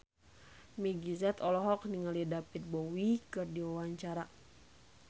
Meggie Z olohok ningali David Bowie keur diwawancara